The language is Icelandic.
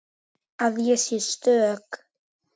Að ég sé stök.